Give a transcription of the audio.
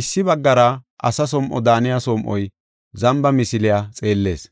Issi baggara asa som7o daaniya som7oy zamba misiliya xeellees;